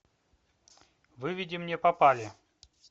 выведи мне попали